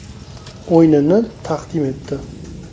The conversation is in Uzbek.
o‘yinini taqdim etdi.